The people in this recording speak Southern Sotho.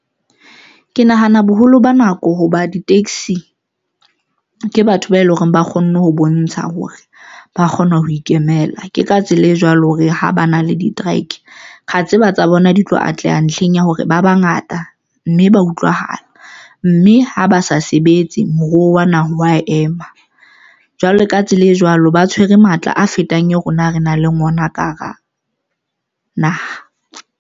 Ke nahana boholo ba nako hoba di-taxi ke batho ba eleng hore ba kgonne ho bontsha hore ba kgona ho ikemela. Ke ka tsela e jwalo hore ha ba na le di-trike ra tseba tsa bona di tlo atleha ntlheng ya hore ba bangata mme ba utlwahala, mme ha ba sa sebetse moruo wa naha wa ema jwalo ka tsela e jwalo, ba tshwere matla a fetang e rona re nang le ona ka hara naha.